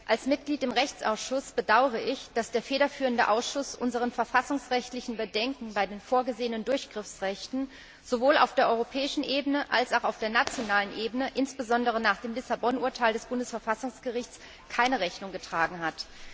Als Mitglied im Rechtsausschuss bedauere ich, dass der federführende Ausschuss unseren verfassungsrechtlichen Bedenken bei den vorgesehenen Durchgriffsrechten sowohl auf der europäischen als auch auf der nationalen Ebene, insbesondere nach dem Lissabon Urteil des Bundesverfassungsgerichts, keine Rechnung getragen hat.